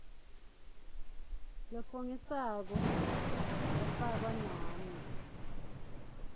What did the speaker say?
lofungisako yafakwa nami